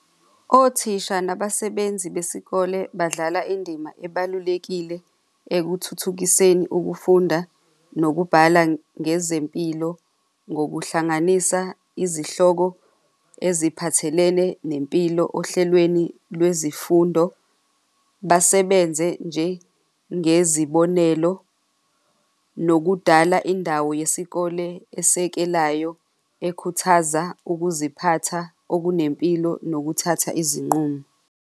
Othisha nabasebenzi besikole badlala indima ebalulekile ekuthuthukiseni ukufunda nokubhala ngezempilo, ngokuhlanganisa izihloko eziphathelene nempilo ohlelweni lwezifundo, basebenze njengezibonelelo nokudala indawo yesikole esekelayo ekhuthaza ukuziphatha okunempilo nokuthatha izinqumo.